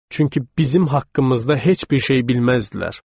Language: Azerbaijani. Çünki bizim haqqımızda heç bir şey bilməzdilər.